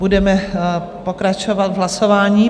Budeme pokračovat v hlasování.